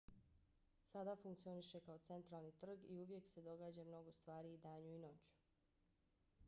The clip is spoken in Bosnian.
sada funkcioniše kao centralni trg i uvijek se događa mnogo stvari i danju i noću